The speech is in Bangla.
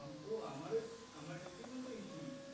ও আমার ও তো আমার stream ও তো ec